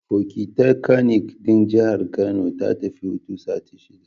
Fokitakanik ɗin Jihar Kano ta tafi hutun sati shida